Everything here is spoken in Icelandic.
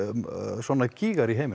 svona gígar í heiminum